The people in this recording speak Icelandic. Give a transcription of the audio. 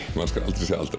segja aldrei